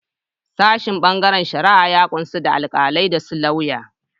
Sashin bangaren shari'a ya kunshi da Alkalai da su lauya.